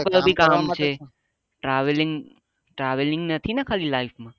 બીજા બધા પણ કામ છે travelling travelling નથી ના ખાલી life માં